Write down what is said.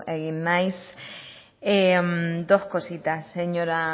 egin naiz dos cositas señora